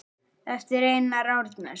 eftir Einar Árnason